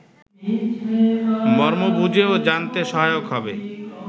মর্ম বুঝতে ও জানতে সহায়ক হবে